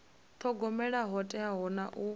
thogomela ho teaho na u